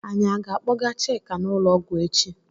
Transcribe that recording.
Anyị aga akpọga Chika n'ụlọọgwú echi?